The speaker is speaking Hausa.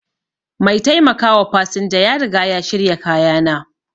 Mai taimakawa fasinja ya riga ya shirya kayana.